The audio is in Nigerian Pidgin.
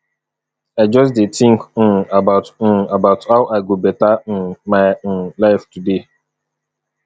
i just dey think um about um about how i go beta um my um life today